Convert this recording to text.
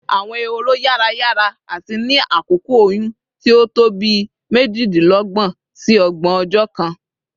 Awọn ehoro yara yara ati ni akoko oyun ti o to bii mejidinlọgbọn si ọgbọn ọjọ kan